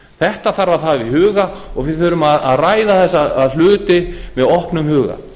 þetta þarf að hafa í huga og við þurfum að ræða þessa hluti með opnum huga